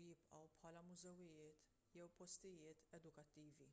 u jibqgħu bħala mużewijiet jew postijiet edukattivi